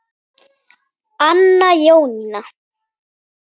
Anna Jónína.